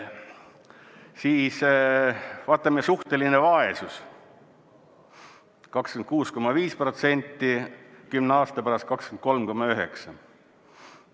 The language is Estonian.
Siis vaatame, suhteline vaesus – 26,5%, 10 aasta pärast 23,9%.